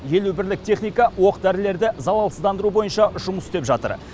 елу бірлік техника оқ дәрілерді залалсыздандыру бойынша жұмыс істеп жатыр